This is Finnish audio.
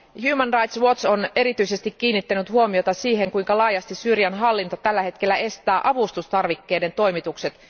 Human Rights Watch on erityisesti kiinnittänyt huomiota siihen, kuinka laajasti Syyrian hallinto tällä hetkellä estää avustustarvikkeiden toimitukset.